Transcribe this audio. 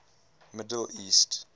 middle east